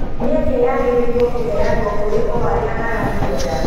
Mĩeke yagĩrĩirwo kũheanwo kũrĩ o arĩa maramĩenda